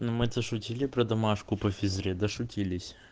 ну мы это шутили про домашку по физре дошутились